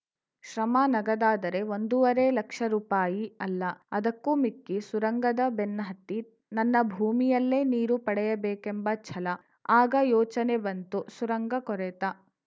ಶ್ರಮ ನಗದಾದರೆ ಒಂದೂವರೆ ಲಕ್ಷ ರೂಪಾಯಿ ಅಲ್ಲ ಅದಕ್ಕೂ ಮಿಕ್ಕಿ ಸುರಂಗದ ಬೆನ್ನುಹತ್ತಿ ನನ್ನ ಭೂಮಿಯಲ್ಲೇ ನೀರು ಪಡೆಯಬೇಕೆಂಬ ಛಲ ಆಗ ಯೋಚನೆ ಬಂತು ಸುರಂಗ ಕೊರೆತ